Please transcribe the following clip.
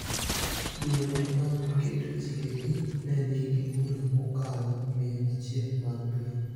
duonde mag keto chikegi ne nigi bura mokalo mia achiel mag piny